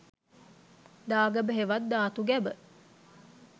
දාගැබ හෙවත් ධාතු ගැබ